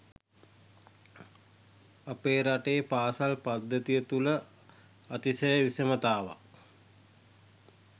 අපේ රටේ පාසල් පද්ධතිය තුළ අතිශය විෂමතාවක්